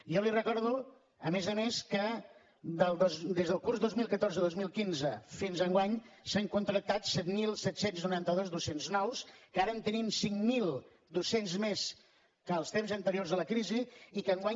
jo li recordo a més a més que des del curs dos mil catorze dos mil quinze fins enguany s’han contractat set mil set cents i noranta dos docents nous que ara tenim cinc mil dos cents docents més que en els temps anteriors a la crisi i que enguany